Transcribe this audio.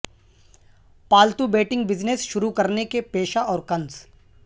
پالتو بیٹنگ بزنس شروع کرنے کے پیشہ اور کنس